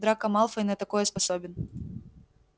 драко малфой на такое способен